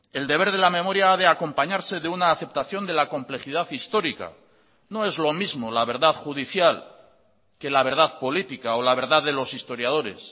el deber de la memoria ha de acompañarse de una aceptación de la complejidad histórica no es lo mismo la verdad judicial que la verdad política o la verdad de los historiadores